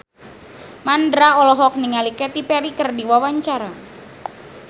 Mandra olohok ningali Katy Perry keur diwawancara